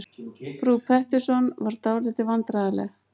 Frú Pettersson varð dálítið vandræðaleg.